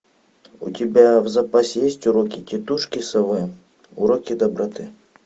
у тебя в запасе есть уроки тетушки совы уроки доброты